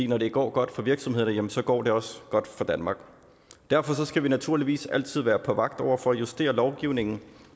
når det går godt for virksomhederne jamen så går det også godt for danmark derfor skal vi naturligvis altid være på vagt over for at justere lovgivningen